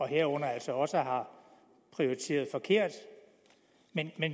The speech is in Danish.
herunder altså også har prioriteret forkert men